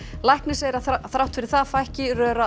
læknir segir að þrátt fyrir það fækki